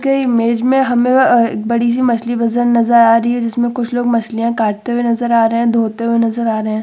कई इमेज में हमें अ बड़ी सी मछली बाजार नज़र आ रही है। जिसमे कुछ लोग मछलियां काटते हुए नज़र आ रही है। धोते हुए नज़र आ रहे हैं।